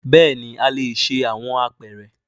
Bẹẹni a le ṣe awọn apeere